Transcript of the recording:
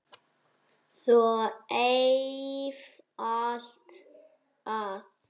Svo einfalt er það!